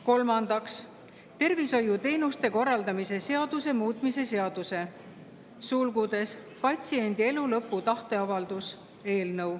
Kolmandaks, tervishoiuteenuste korraldamise seaduse muutmise seaduse eelnõu.